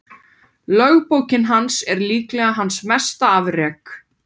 Lögbók hans er líklega hans mesta afrek.